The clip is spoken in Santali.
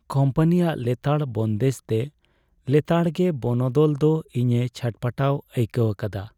ᱠᱚᱢᱯᱟᱱᱤᱭᱟᱜ ᱞᱮᱛᱟᱲ ᱵᱚᱱᱫᱮᱡᱽᱛᱮ ᱞᱮᱛᱟᱲ ᱜᱮ ᱵᱚᱱᱚᱫᱚᱞ ᱫᱚ ᱤᱧᱮ ᱪᱷᱟᱴᱯᱟᱹᱴᱟᱣ ᱟᱹᱭᱠᱟᱹᱣ ᱟᱠᱟᱫᱟ ᱾